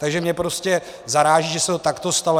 Takže mě prostě zaráží, že se to takto stalo.